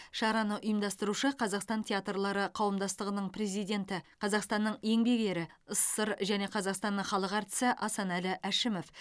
шараны ұйымдастырушы қазақстан театрлары қауымдастығының президенті қазақстанның еңбек ері ссср және қазақстанның халық әртісі асанәлі әшімов